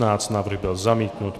Návrh byl zamítnut.